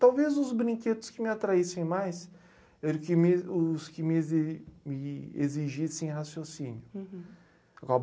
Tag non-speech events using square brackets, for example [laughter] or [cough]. Talvez os brinquedos que me atraíssem mais era o que me os que me exi me exigissem raciocínio. Uhum. [unintelligible]